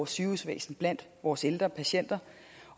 sygehusvæsenet blandt vores ældre patienter